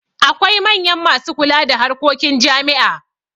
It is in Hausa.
Akwai manya masu kula da harkokin jami'a.